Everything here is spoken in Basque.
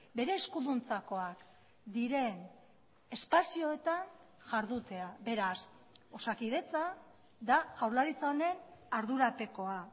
bere eskuduntzakoak diren espazioetan jardutea beraz osakidetza da jaurlaritza honen ardurapekoa